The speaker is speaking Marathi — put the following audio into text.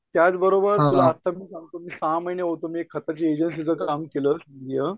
त्याचबरोबर तुला आत्ता मी सांगतो मी सहा महिने होतो मी खताच्या एजन्सी च काम केलं